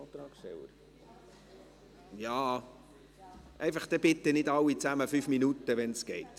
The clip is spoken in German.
Dann möchte ich Sie aber bitten, dass nicht alle 5 Minuten sprechen, wenn möglich.